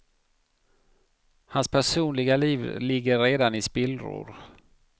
Hans personliga liv ligger redan i spillror.